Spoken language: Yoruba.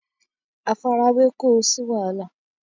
àfarawé kó o sí wàhálà